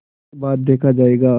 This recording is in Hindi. उसके बाद देखा जायगा